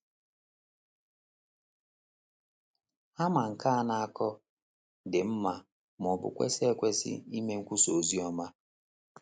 Ha ma nke a na - akọ, dị mma, ma ọ bụ kwesị ekwesị ime nkwusa oziọma.